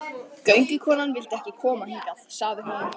Göngukonan vildi ekki koma hingað, sagði hún.